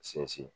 Sinsin